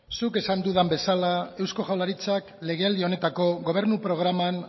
zuk esan duzun bezala eusko jaurlaritzak legealdi honetako gobernu programan